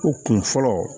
O kun fɔlɔ